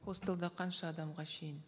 хостелда қанша адамға шейін